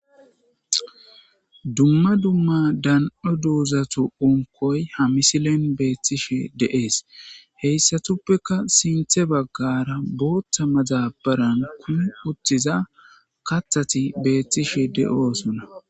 dumma dumma dan7o duuzatu unkoy ha misilen beethtishe de7ees heyssatuppeka sinthe baggara booththa mazabaran kuu uttiza kathati beethtishe de7oosuna